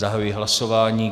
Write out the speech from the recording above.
Zahajuji hlasování.